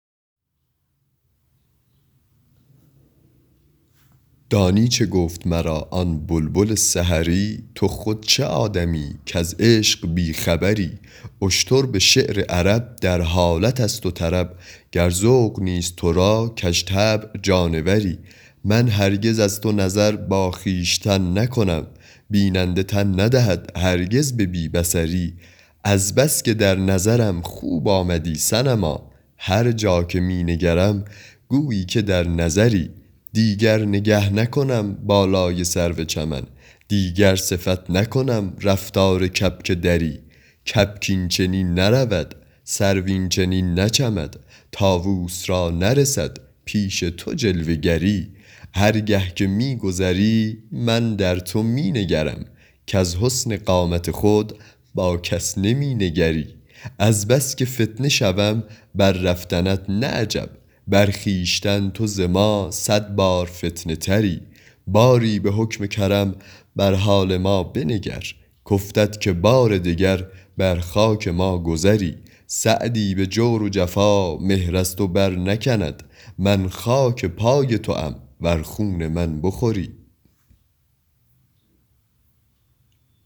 دانی چه گفت مرا آن بلبل سحری تو خود چه آدمیی کز عشق بی خبری اشتر به شعر عرب در حالت است و طرب گر ذوق نیست تو را کژطبع جانوری من هرگز از تو نظر با خویشتن نکنم بیننده تن ندهد هرگز به بی بصری از بس که در نظرم خوب آمدی صنما هر جا که می نگرم گویی که در نظری دیگر نگه نکنم بالای سرو چمن دیگر صفت نکنم رفتار کبک دری کبک این چنین نرود سرو این چنین نچمد طاووس را نرسد پیش تو جلوه گری هر گه که می گذری من در تو می نگرم کز حسن قامت خود با کس نمی نگری از بس که فتنه شوم بر رفتنت نه عجب بر خویشتن تو ز ما صد بار فتنه تری باری به حکم کرم بر حال ما بنگر کافتد که بار دگر بر خاک ما گذری سعدی به جور و جفا مهر از تو برنکند من خاک پای توام ور خون من بخوری